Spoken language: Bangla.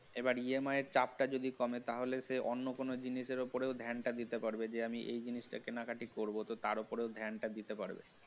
এবার EMI এর দামটা যদি কমে তাহলে যে অন্য কোন জিনিসের উপরে ধ্যান টা দিতে পারবে যে আমি এই জিনিসটা কেনাকাটা করব তো তার ওপরে ধ্যানটা দিতে পারব